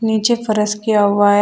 नीचे फरस किया हुआ है।